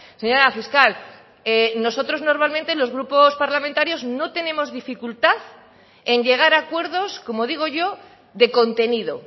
señora fiscal nosotros normalmente los grupos parlamentarios no tenemos dificultad en llegar a acuerdos como digo yo de contenido